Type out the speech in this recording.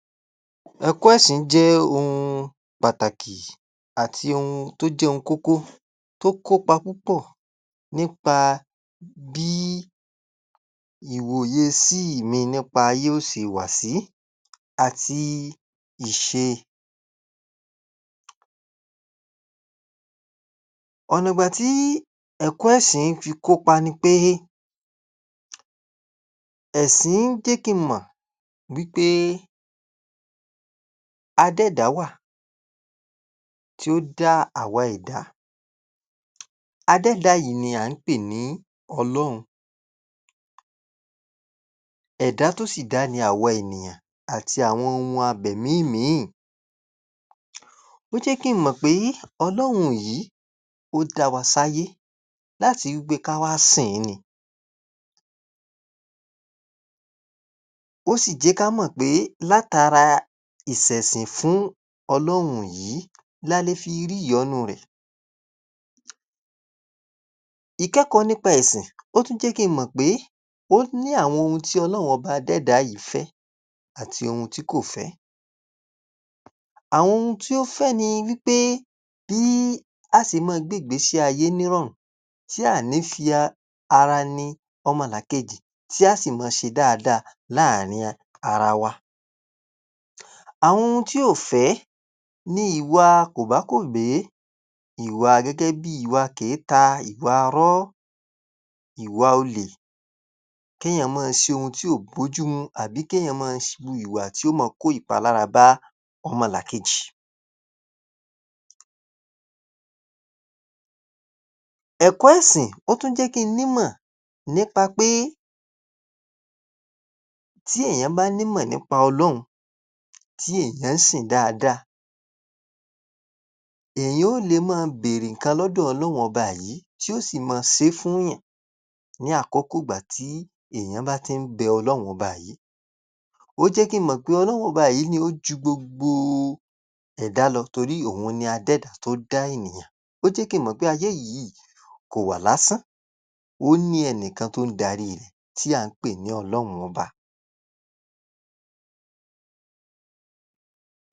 Ẹ̀kọ́ ẹ̀sìn jẹ́ ohun pàtàkì àti ohun tó jẹ́ ohun kókó yó kópa púpọ̀ nípa bí ìwòyesí mi nípa ayé ó se wà sí àti ìṣe. Ọ̀nàgbà tí ẹ̀kọ́ ẹ̀sìn fi kópa ni pé ẹ̀sìn jé kí n mọ̀ wí pé adẹ́ẹ̀dá wà tí ó dá àwa ẹ̀dá. Adẹ́ẹ̀dá yìí ni à ń pè ní Ọlọ́run. Ẹ̀dá tó sì dá ni àwa ènìyàn àti àwọn ohun abẹ̀mí mìíìn. Ó jẹ́ kí n mọ̀ pé Ọlọ́run yìí ó dá wa sáyé láti wí pé ká wá sìn ín ni. Ó sì jẹ́ ká mọ̀ pé látara ìsẹ̀sìn fún Ọlọ́run yìí la le fi rí ìyọ́nú rẹ̀. Ìkẹ́kọ̀ọ́ nípa ẹ̀sìn ó tún jẹ́ kí n mọ̀ pé ó ní àwọn ohun tí Ọlọ́run adẹ́ẹ̀dá yìí fẹ́ àti ohun tí kò fẹ́. Àwọn ohun tí ó fẹ́ ni wí pé bí á se mọ́ọ gbéègbésí ayé nírọ̀rùn tí a à ní fi a... ara ni ọmọlàkejì, tí á sì mọ́ọ ṣe dáadáa láàárín a...ara wa. Àwọn ohun tí ò fẹ́ ni ìwà kòbákògbé. Ìwà gẹ́gẹ́ bíi ìwà kèéta, ìwaarọ́, ìwà olè, kéèyàn mọ́ọ ṣe ohun tí ò bójú mú àbí kéèyàn mọ́ọ ṣ...wu ìwà tí ó mọ́ọ kópalara bá ọmọlàkejì. Ẹ̀kọ́ ẹ̀sìn ó tún jẹ́ kí n nímọ̀ nípa pé tí èèyàn bá nímọ̀ nípa Ọlọ́run, tí èèyàn sìn ín dáadáa, èèyàn ó le béèrè nǹkan lọ́dọ̀ Ọlọ́run Ọba yìí tí ó sì mọ́ọ sé é fúùnyàn ní àkókò ìgbà tí èèyàn bá ti ń bẹ Ọlọ́run Ọba yìí. Ó jẹ́ kí n mọ̀ pé Ọlọ́run Ọba yìí ni ó ju gbogbo ẹ̀dá lọ torí òun ni adẹ́ẹ̀dá tó dá ènìyàn. Ó jẹ́ kí n mọ̀ pé ayé yìí kò wà lásán, ó ní ẹnì kan tó darí rẹ̀ tí à ń pè ní Ọlọ́run Ọba